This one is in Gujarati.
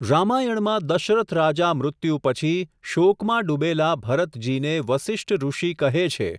રામાયણમાં દશરથ રાજા મૃત્યુ પછી, શોકમાં ડુબેલા, ભરતજીને વસિષ્ઠ ઋષિ કહે છે.